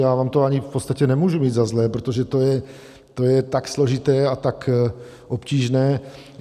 Já vám to ani v podstatě nemůžu mít za zlé, protože to je tak složité a tak obtížné.